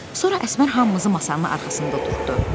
Sonra Əsmər hamımızı masanın arxasına tutdu.